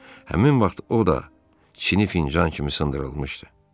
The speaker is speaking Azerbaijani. Həmin vaxt o da Çini fincan kimi sındırılmışdı.